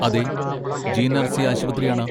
അതെ, ജി.എൻ.ആർ.സി. ആശുപത്രിയാണ്.